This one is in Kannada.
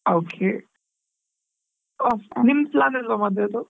Okay . ಹೋ ನಿಮ್ plan ಇಲ್ವಾ ಮದುವೆದು?